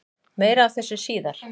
Meira af þessu síðar.